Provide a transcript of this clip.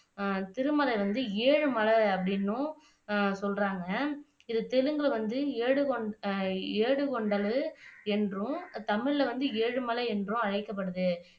அஹ் திருமலை வந்து ஏழு மலை அப்படின்னும் சொல்றாங்க இது திரும்ப வந்து ஏடு ஏடு கொண்டது என்றும் தமிழ்ல வந்து ஏழு மலை என்றும் அழைக்கப்படுது